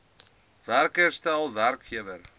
werker stel werkgewer